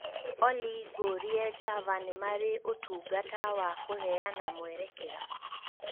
olly ngūrie java nīmarī ūtungata wa kuheyana mwerekera